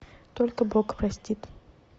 только бог простит